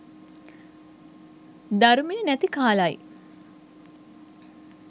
ධර්මය නැති කාලයි